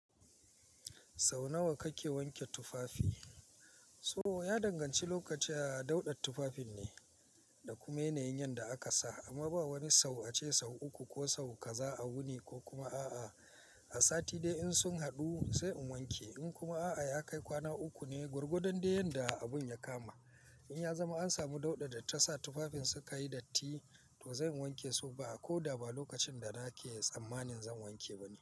Sau nawa kake wanke tufafi? To ya danganci lokaci a dauɗar tufafin ne da kuma yanayin yanda aka sa. Amma ba wani sau ace sau uku ko sau kaza a wuni ko kuma a'a. A sati dai in sun haɗu sai in wanke. In kuma a'a ya kai kwana uku ne gwargwadon da yanda abun ya kama. In ya zama an samu dauɗa da ta sa tufafin suka yi datti, to zan wanke su ba a ko da ba lokacin da nake tsammanin zan wanke ba ne.